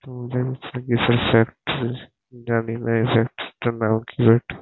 সামনে একটা কিসের ফ্যাক্টরি জানি না এই ফ্যাক্টরি -টার নাম কি একটা--